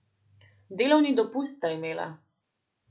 Delovni dopust sta imela.